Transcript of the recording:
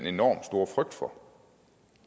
enormt store frygt for